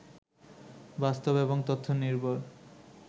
বাস্তব এবং তথ্য নির্ভর